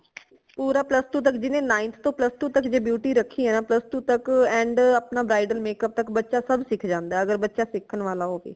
ਪੂਰਾ plus two ਤਕ ਜਿਵੇ ninth ਤੋਂ plus two ਤਕ ਜੇ beauty ਰਖੀ ਹੈ ਨਾ plus two ਤਕ and ਅਪਣਾ bridal makeup ਤਕ ਬੱਚਾ ਸਬ ਸਿੱਖ ਜਾਂਦਾ ਹੈ ਅਗਰ ਬੱਚਾ ਸਿੱਖਾਂਵਾਲਾ ਹੋਵੇ